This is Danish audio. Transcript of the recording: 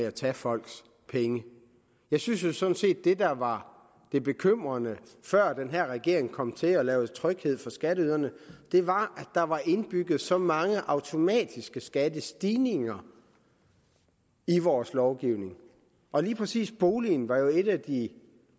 og tage folks penge jeg synes sådan set at det der var det bekymrende før den her regering kom til og lavede tryghed for skatteyderne var at der var indbygget så mange automatiske skattestigninger i vores lovgivning lige præcis boligen var jo et af de